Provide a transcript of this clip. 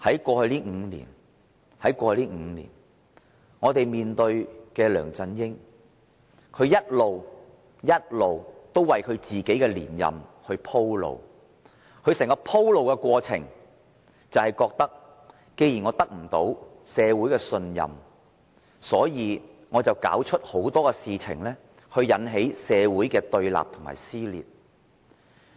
過去5年，我們面對梁振英一直為自己連任鋪路，在他鋪路的過程中，他認為既然得不到社會信任，便要弄出很多事情來挑起社會的對立和撕裂。